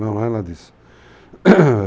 Não é nada disso.